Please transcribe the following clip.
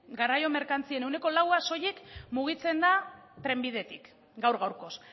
garraio merkantzien ehuneko laua soilik mugitzen da trenbidetik gaur gaurkoz